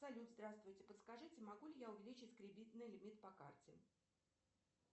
салют здравствуйте подскажите могу ли я увеличить кредитный лимит по карте